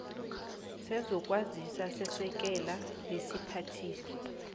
sezokwazisa sesekela lesiphathiswa